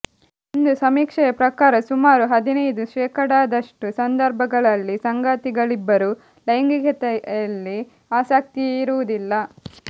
ಒಂದು ಸಮೀಕ್ಷೆಯ ಪ್ರಕಾರ ಸುಮಾರು ಹದಿನೈದು ಶೇಖಡಾದಷ್ಟು ಸಂದರ್ಭಗಳಲ್ಲಿ ಸಂಗಾತಿಗಳಿಬ್ಬರಿಗೂ ಲೈಂಗಿಕತೆಯಲ್ಲಿ ಆಸಕ್ತಿಯೇ ಇರುವುದಿಲ್ಲ